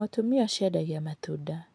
Mũtumia ũcio endagia matunda.